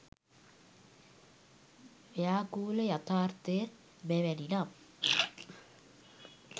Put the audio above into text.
ව්‍යාකූල යථාර්ථය මෙවැනි නම්